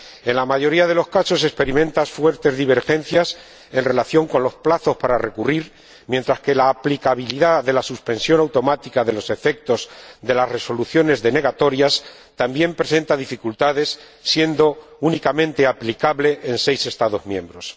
En la mayoría de los casos se experimentan fuertes divergencias en relación con los plazos para recurrir, mientras que la aplicabilidad de la suspensión automática de los efectos de las resoluciones denegatorias también presenta dificultades, siendo únicamente aplicable en seis Estados miembros.